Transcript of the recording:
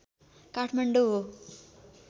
काठमाडौँ हो